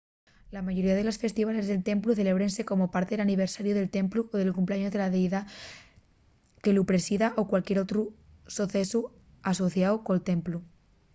la mayoría de los festivales del templu celébrense como parte del aniversariu del templu o del cumpleaños de la deidá que lu presida o cualquier otru socesu asociáu col templu